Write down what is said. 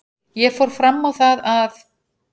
Ég fór fram á það að